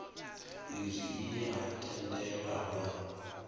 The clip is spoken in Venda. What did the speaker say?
izwi i ye ha tendelanwa